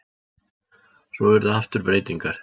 Svo urðu aftur breytingar.